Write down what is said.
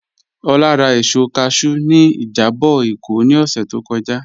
Ọlá rà èsọ̀ káshù ní ìjàbọ̀ Ékó ní ọ̀ṣẹ̀ tó kọ́jà.